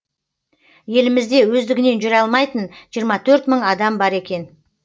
елімізде өздігінен жүре алмайтын жиырма төрт мың адам бар екен